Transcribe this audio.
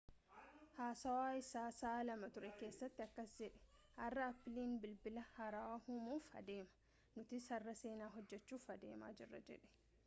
haasawa isaa sa'aa 2 ture keesatti akkas jedhe har'a appiliin bilbila haarawa uumuuf adeema nutis har'a seenaa hojjechuuf adeemaa jirra jedhe